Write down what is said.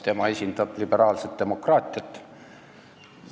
Tema esindab liberaalset demokraatiat.